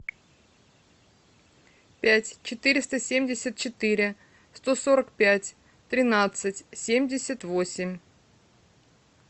пять четыреста семьдесят четыре сто сорок пять тринадцать семьдесят восемь